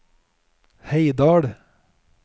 Heidal